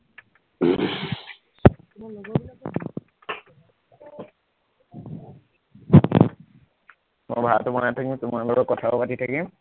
মই ভাতো বনাই থাকিম, তোমাৰ লগত কথাও পাতি থাকিম